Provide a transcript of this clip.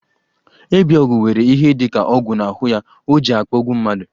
Ebiogwu were ihe dika ogwu n'ahụ ya, oji akpọgbu mmadụ.